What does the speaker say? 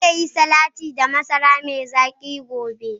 Zan yi salati da masara mai zaki gobe.